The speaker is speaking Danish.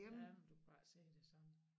Ja men du kan bare ikke se det samme